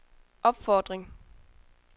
opfordring